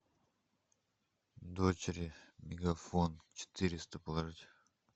дочери мегафон четыреста положить